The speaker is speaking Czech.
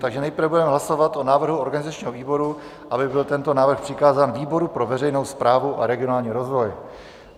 Takže nejprve budeme hlasovat o návrhu organizačního výboru, aby byl tento návrh přikázán výboru pro veřejnou správu a regionální rozvoj.